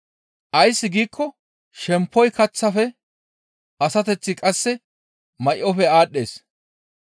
Ays giikko shemppoy kaththafe asateththi qasse may7ofe aadhdhees.